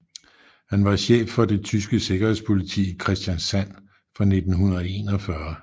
Han var chef for det tyske sikkerhedspoliti i Kristiansand fra 1941